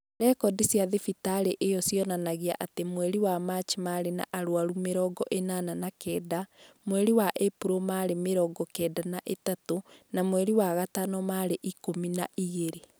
Rekondi cia thibitarĩ ĩyo cionanagia atĩ mweri wa Machi maarĩ na arwaru mĩrongo ĩnana na kenda, mweri wa Ĩpuro maarĩ mĩrongo kenda na ithatũ, na mweri wa gatano maarĩ ikũmi na igĩrĩ.